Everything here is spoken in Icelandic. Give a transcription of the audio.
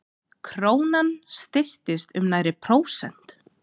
Krónan styrktist um nærri prósent